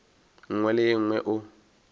nngwe le ye nngwe o